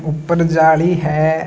ऊपर जाली है।